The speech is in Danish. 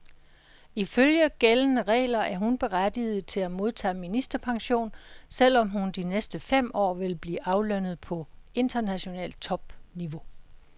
Ifølge gældende regler er hun berettiget til at modtage ministerpension, selv om hun de næste fem år vil blive aflønnet på internationalt topniveau.